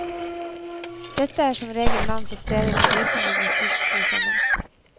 Dette er som regel navn på steder hvor vikingene først slo seg ned.